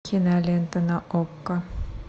кинолента на окко